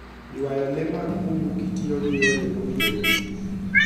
Ywayo le mag bungu kitiyo gi yore mowinjore.